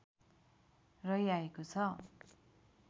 रहिआएको छ